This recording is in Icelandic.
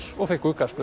og fengu